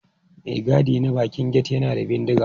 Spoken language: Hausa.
Mai gadi na bakin gate yana da bindiga.